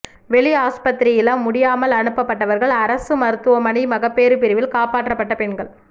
வெளி ஆஸ்பத்திரியில் முடியாமல் அனுப்பப்பட்டவர்கள் அரசு மருத்துவமனை மகப்பேறு பிரிவில் காப்பாற்றப்பட்ட பெண்கள்